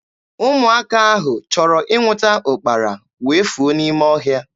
Ụmụaka ahụ chọrọ ịnwụta ụkpara wee fuo n'ime ọhịa.